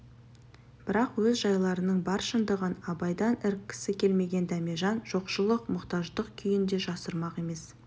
бірақ өз жайларының бар шындығын абайдан іріккісі келмеген дәмежан жоқшылық мұқтаждық күйін де жасырмақ емес